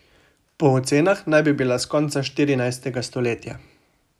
Po ocenah naj bi bila s konca štirinajstega stoletja.